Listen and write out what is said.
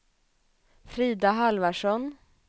Frida Halvarsson